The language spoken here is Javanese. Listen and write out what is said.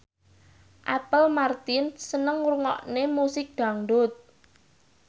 Apple Martin seneng ngrungokne musik dangdut